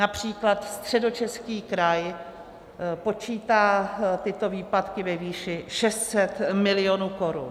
Například Středočeský kraj počítá tyto výpadky ve výši 600 milionů korun.